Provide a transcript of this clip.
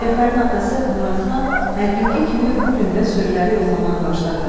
Cəfərin atası Muradxan hər günkü kimi bu gün də sürüləri yoxlamağa başladı.